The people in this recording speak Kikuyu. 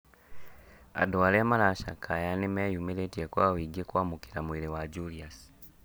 Andũ arĩa mara cakaya nĩmeyumĩrĩrie kwa ũingĩ kwamũkĩra mwĩrĩ wa Julius